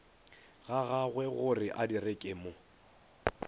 ga gagwegore a direka mo